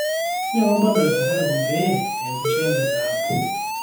nyangu bundles le safaricom peyie eesisho mpesa app